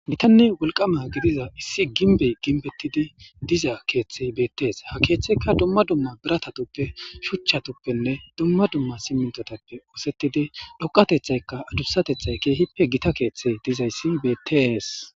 Gitanne wolqama gidiza issi gimbbey gimbbettidi diza keeththey betees. Ha keeththeykka dumma dumma biratatappe shuchchatuppenne dumma dumma simintotappe oosettidi dhoqatethaykka adursatethay keehippe gita keeththey dizayssi betees.